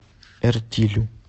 эртилю